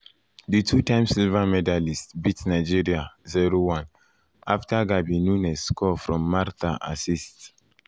di two-time silver medallists beat nigeria 0-1 afta gabi nunes score from martha from martha assist.